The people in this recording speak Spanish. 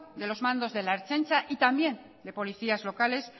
de los mandos de la ertzaintza y también de policías locales